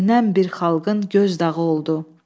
Bölünən bir xalqın gözdağı oldu.